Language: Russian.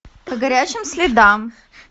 по горячим следам